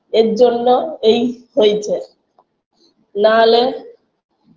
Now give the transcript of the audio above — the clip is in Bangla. এরজন্য এই হইচে নাহলে